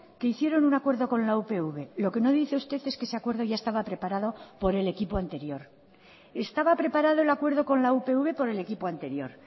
que hicieron un acuerdo con la upv lo que no dice usted es que ese acuerdo ya estaba preparado por el equipo anterior estaba preparado el acuerdo con la upv por el equipo anterior